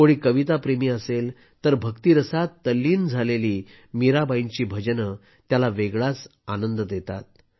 कोणी कविताप्रेमी असेल तर भक्तीरसात तल्लीन झालेली मीराबाईंची भजने त्याला वेगळाच आनंद देतात